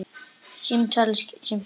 Símtal sem skiptir máli